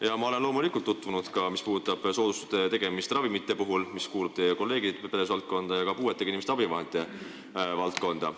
Jaa, ma olen loomulikult tutvunud soodustuste tegemise korraga ravimite puhul, mis kuulub teie kolleegi tegevusvaldkonda, ja ka puuetega inimeste abivahendite teemaga.